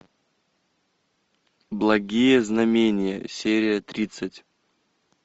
благие знамения серия тридцать